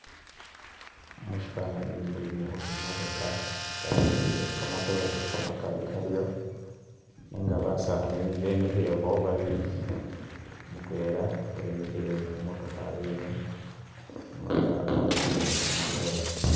Mushifanani mulimo imotoka yasutile kamatoore kamakali karyo nenga basaani bemikhilekho babili, mutwela wemikhile khu motoka yene umulala wakonele khu matoore.